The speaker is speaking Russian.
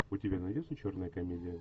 у тебя найдется черная комедия